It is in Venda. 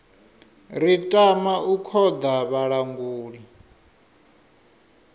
ri tama u khoḓa vhalanguli